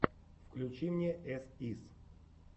включи мне эс ис